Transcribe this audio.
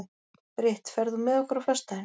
Brit, ferð þú með okkur á föstudaginn?